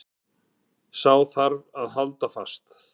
Sá þarf þá að halda fast.